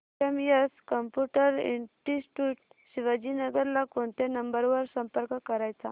CMS computer institute Shivajinagar ला कोणत्या number वर संपर्क करायचा